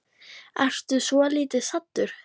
Ertu svolítið saddur?